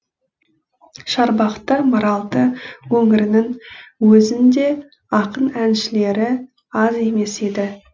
шарбақты маралды өңіріннің өзінде ақын әншілері аз емес еді